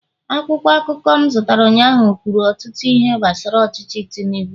akwụkwọ akụkọ m zụtara ụnyaahụ kwuru ọtụtụ ihe gbasara ọchịchị tinubu